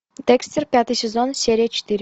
декстер пятый сезон серия четыре